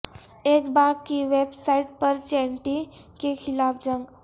ایک باغ کی ویب سائٹ پر چینٹی کے خلاف جنگ